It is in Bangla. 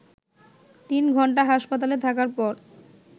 তিন ঘণ্টা হাসপাতালে থাকার পর